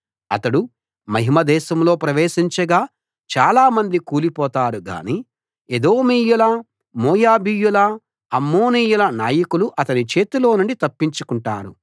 అతడు మహిమ దేశంలో ప్రవేశించగా చాలా మంది కూలి పోతారు గానీ ఎదోమీయుల మోయాబీయుల అమ్మోనీయుల నాయకులు అతని చేతిలోనుండి తప్పించుకుంటారు